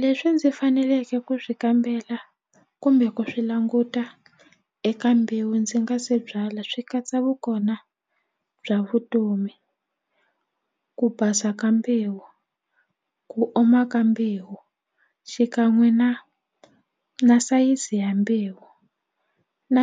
Leswi ndzi faneleke ku swi kambela kumbe ku swi languta eka mbewu ndzi nga se byala swi katsa vukona bya vutomi ku basa ka mbewu ku oma ka mbewu xikan'we na na sayizi ya mbewu na